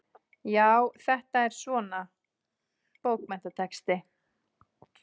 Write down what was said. Já, þetta er svona. bókmenntatexti.